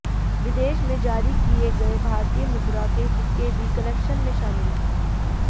विदेश में जारी किए गए भारतीय मुद्रा के सिक्के भी कलेक्शन में शामिल